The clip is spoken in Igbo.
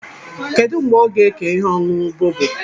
Kedụ mgbe ọ ga ékè ihe ọṅụṅụ bọbọ?